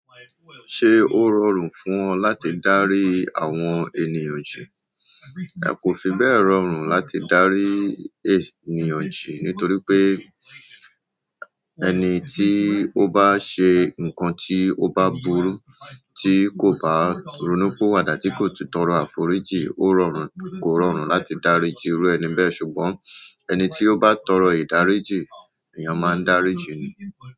Ṣé ó rọrùn fún ọ láti dárí àwọn ènìyàn jì? Kò fi bẹ́ẹ̀ rọrùn láti darí ènìyàn jì nítorí pé ẹni tí ó bá ṣe nǹkan tí ó bá burú tí kò bá ronúpìwàdà tí kò sì tọrọ àforíjì, ó rọrùn—kò rọrùn láti dáríjì irú ẹni bẹ́ẹ̀ ṣùgbọ́n ẹni tí ó bá tọrọ ìdáríjì, èèyàn máa ń daríjìí ni.